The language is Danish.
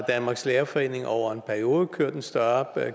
danmarks lærerforening over en periode har kørt en større